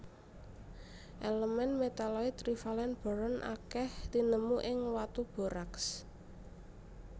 Elemen metaloid trivalen boron akèh tinemu ing watu borax